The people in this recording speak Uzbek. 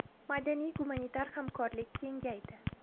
Madaniy-gumanitar hamkorlik kengaydi.